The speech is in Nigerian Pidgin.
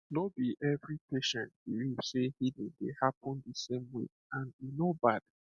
no be every patient believe say healing dey happen the same way and e no bad